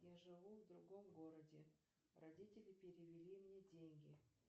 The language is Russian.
я живу в другом городе родители перевели мне деньги